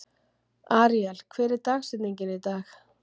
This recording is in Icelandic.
Aríel, hver er dagsetningin í dag?